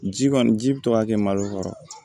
Ji kɔni ji bi to ka kɛ malo kɔrɔ